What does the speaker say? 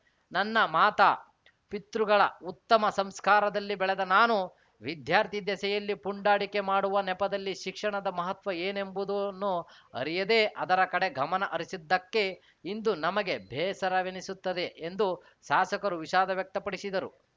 ನನ್ನ ಮಾತಾ ಪಿತೃಗಳ ಉತ್ತಮ ಸಂಸ್ಕಾರದಲ್ಲಿ ಬೆಳೆದ ನಾನು ವಿದ್ಯಾರ್ಥಿ ದೆಸೆಯಲ್ಲಿ ಪುಂಡಾಟಿಕೆ ಮಾಡುವ ನೆಪದಲ್ಲಿ ಶಿಕ್ಷಣದ ಮಹತ್ವ ಏನೆಂಬುದನ್ನು ಅರಿಯದೇ ಅದರ ಕಡೆ ಗಮನ ಹರಿಸಿದ್ದಕ್ಕೆ ಇಂದು ನಮಗೆ ಬೇಸರವೆನಿಸುತ್ತದೆ ಎಂದು ಶಾಸಕರು ವಿಷಾದ ವ್ಯಕ್ತಪಡಿಸಿದರು